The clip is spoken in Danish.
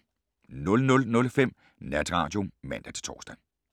00:05: Natradio (man-tor)